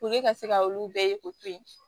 Puke ka se ka olu bɛɛ ye k'o to yen